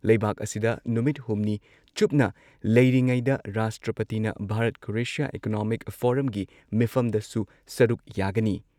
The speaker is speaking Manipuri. ꯂꯩꯕꯥꯛ ꯑꯁꯤꯗ ꯅꯨꯃꯤꯠ ꯍꯨꯝꯅꯤ ꯆꯨꯞꯅ ꯂꯩꯔꯤꯉꯩꯗ ꯔꯥꯁꯇ꯭ꯔꯄꯇꯤꯅ ꯚꯥꯔꯠ-ꯀ꯭ꯔꯣꯑꯦꯁꯤꯌꯥ ꯏꯀꯣꯅꯣꯃꯤꯛ ꯐꯣꯔꯝꯒꯤ ꯃꯤꯐꯝꯗꯁꯨ ꯁꯔꯨꯛ ꯌꯥꯒꯅꯤ ꯫